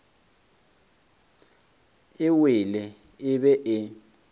e wele e be e